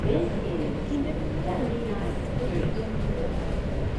Kinde mang’eny jo ot bedo gi anyuola mang’eny,